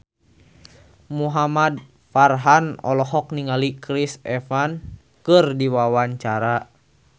Muhamad Farhan olohok ningali Chris Evans keur diwawancara